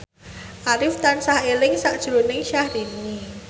Arif tansah eling sakjroning Syahrini